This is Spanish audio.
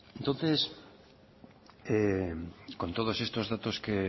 entonces con todos estos datos que